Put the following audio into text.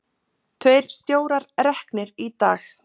Tveir stjórar reknir í dag